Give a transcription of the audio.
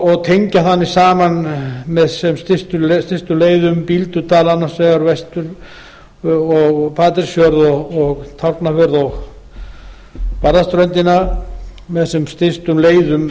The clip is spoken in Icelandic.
og tengja þannig saman með sem stystum leið bíldudal annars vegar og patreksfjörð tálknafjörð og barðaströndina með sem stystum leiðum